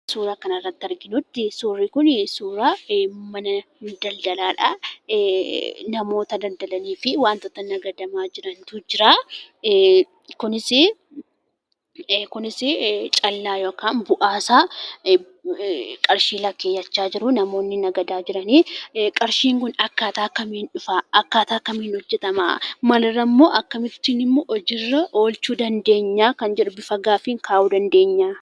Suuraa kanarratti arginuttii, suurri kunii suuraa mana daldalaadha. Namoota daldalaniifi wantoota nagadamaa jirantu jiraa, kunis callaa yookaan bu'aasaa qarshii lakkaa'achaa jiruu namoonni nagadaa jiranii qarshiin kun akkaataa kamiin dhufaa? Akkaataa kamiin hojjatamaa, maalirraa, akkamittiinimmoo hojiirra oolchuu dandeenya kan jedhu bifa gaaffiin kaa'uu dandeenya.